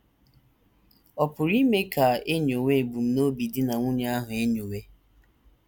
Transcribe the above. Ọ̀ pụrụ ime ka e nyowe ebumnobi di na nwunye ahụ enyowe?